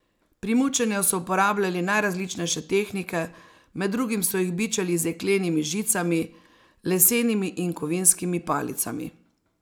Pri mučenju so uporabljali najrazličnejše tehnike, med drugim so jih bičali z jeklenimi žicami, lesenimi in kovinskimi palicami.